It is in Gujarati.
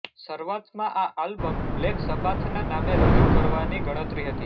શરૂઆતમાં આ આલ્બમ બ્લેક સબાથનાં નામે રજૂ કરવાની ગણતરી હતી